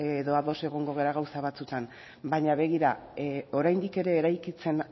edo ados egongo gara gauza batzuetan baina begira oraindik ere eraikitzen